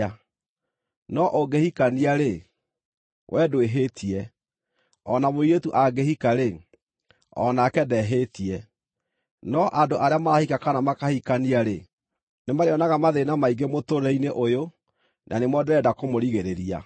No ũngĩhikania-rĩ, wee ndwĩhĩtie; o na mũirĩtu angĩhika-rĩ, o nake ndehĩtie. No andũ arĩa marahika kana makahikania-rĩ, nĩmarĩonaga mathĩĩna maingĩ mũtũũrĩre-inĩ ũyũ, na nĩmo ndĩrenda kũmũrigĩrĩria.